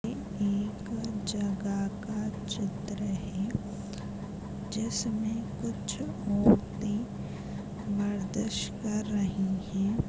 एक जगह का चित्र है जिसमें कुछ औरते मर्दिश कर रही हैं।